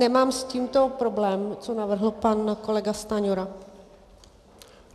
Nemám s tímto problém, co navrhl pan kolega Stanjura.